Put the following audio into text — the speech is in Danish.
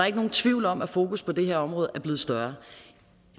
ikke nogen tvivl om at fokus på det her område er blevet større